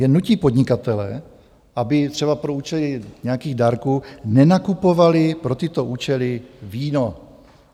Jen nutí podnikatele, aby třeba pro účely nějakých dárků nenakupovali pro tyto účely víno.